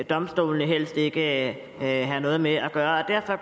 domstolene helst ikke have noget med at gøre derfor